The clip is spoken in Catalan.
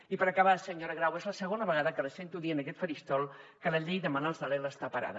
i per acabar senyora grau és la segona vegada que li sento dir en aquest faristol que la llei de malalts de l’ela està parada